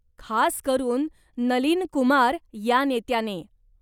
खास करून नलीन कुमार या नेत्याने.